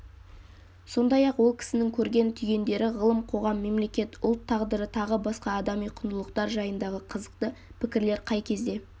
сондай-ақ ол кісінің көрген-түйгендері ғылым қоғам мемлекет ұлт тағдыры тағы басқа адами құндылықтар жайындағы қызықты пікірлері қай кезде